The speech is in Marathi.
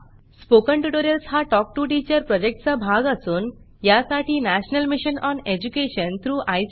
स्पोकन ट्युटोरियल्स हा टॉक टू टीचर प्रॉजेक्टचा भाग असून यासाठी national mission on education through I